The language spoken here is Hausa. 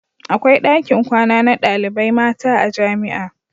Akwai dakin kwana na ɗalibai mata a jamia